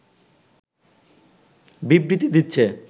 বিবৃতি দিচ্ছে